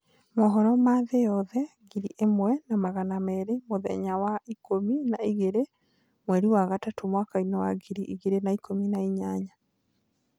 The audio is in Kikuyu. Mũhoro ma thi yoothe ngiri ĩmwe na magana merĩ mũthenya wa ikũmi na igĩrĩ mweri wa gatatũ mwakainĩ wa ngiri igĩrĩ na ikũmi na inyanya